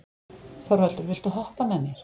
Þorvaldur, viltu hoppa með mér?